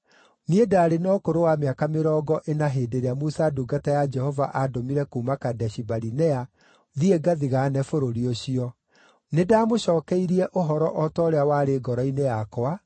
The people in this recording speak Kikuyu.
Niĩ ndaarĩ na ũkũrũ wa mĩaka mĩrongo ĩna hĩndĩ ĩrĩa Musa ndungata ya Jehova aandũmire kuuma Kadeshi-Barinea thiĩ ngathigaane bũrũri ũcio. Nĩndamũcookeirie ũhoro o ta ũrĩa warĩ ngoro-inĩ yakwa,